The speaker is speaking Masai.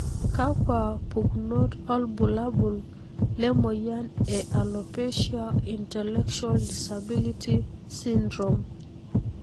kakwa pukunoto olbulabul lemoyian e Alopecia intellectual disability syndrome?